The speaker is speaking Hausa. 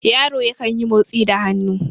yaro yankan yi motsi da hannu